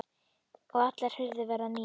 Og allar hurðir verða nýjar.